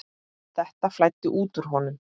Þetta flæddi út úr honum.